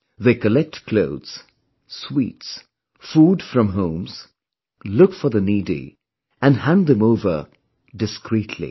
They collect clothes, sweets, food from homes, look for the needy and hand them over discreetly